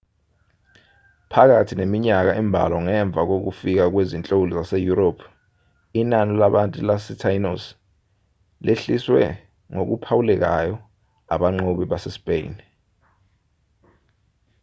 phakathi neminyaka embalwa ngemva kokufika kwezinhloli zaseyurophu inani labantu basetainos lehliswe ngokuphawulekayo abanqobi basespeyini